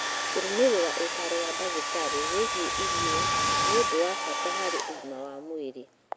Kũrũmĩrĩra ũtaaro wa ndagĩtarĩ wĩgiĩ irio nĩ ũndũ wa bata harĩ ũgima wa mwĩrĩ.